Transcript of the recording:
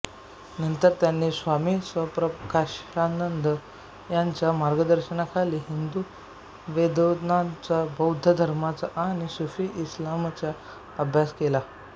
नंतर त्यांनी स्वामी सत्प्रकाशानंद यांच्या मार्गदर्शनाखाली हिंदू वेदान्ताचा बौद्ध धर्माचा आणि सूफी इस्लामचा अभ्यास केला